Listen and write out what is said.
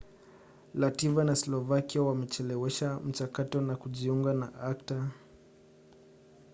lativia na slovakia wamechelewesha mchakato wa kujiunga na acta